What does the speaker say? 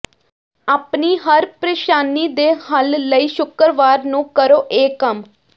ਆਪਣੀ ਹਰ ਪ੍ਰੇਸ਼ਾਨੀ ਦੇ ਹੱਲ ਲਈ ਸ਼ੁੱਕਰਵਾਰ ਨੂੰ ਕਰੋ ਇਹ ਕੰਮ